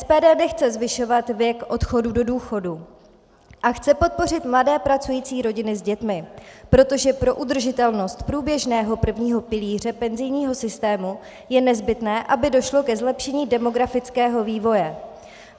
SPD nechce zvyšovat věk odchodu do důchodu a chce podpořit mladé pracující rodiny s dětmi, protože pro udržitelnost průběžného prvního pilíře penzijního systému je nezbytné, aby došlo ke zlepšení demografického vývoje.